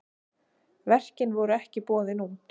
Verkin voru ekki boðin út.